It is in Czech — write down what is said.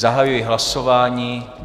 Zahajuji hlasování.